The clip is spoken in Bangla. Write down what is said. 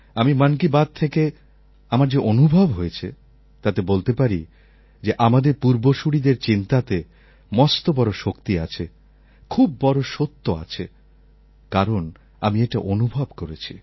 আমি মন কি বাত থেকে আমার যে অনুভব হয়ছে তাতে বলতে পারি যে আমাদের পূর্বসূরীদের চিন্তাতে মস্ত বড় শক্তি আছে খুব বড় সত্য আছে কারণ আমি এটা অনুভব করেছি